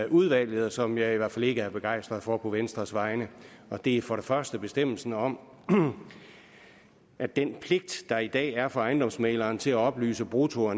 udvalget og som jeg i hvert fald ikke er begejstret for på venstres vegne det er for det første bestemmelsen om at den pligt der i dag er for ejendomsmægleren til at oplyse brutto og